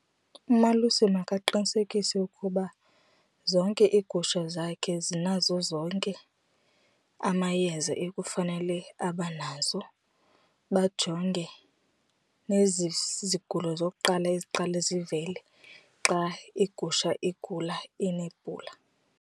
Umalusi makaqinisekise ukuba zonke iigusha zakhe zinazo zonke amayeza ekufanele abanazo bajonge nezi zigulo zokuqala iziqale zivele xa igusha igula inebhula.